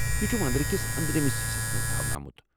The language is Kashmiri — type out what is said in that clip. یہ چھُ وندرکِس أنٛدرمس حصس منٛز تھاونہٕ آمُت۔